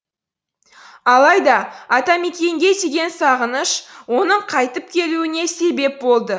алайда атамекенге деген сағыныш оның қайтып келуіне себеп болды